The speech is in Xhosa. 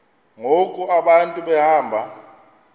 ngoku abantu behamba